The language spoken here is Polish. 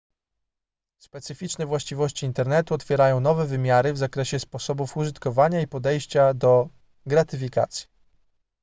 specyficzne właściwości internetu otwierają nowe wymiary w zakresie sposobów użytkowania i podejścia do gratyfikacji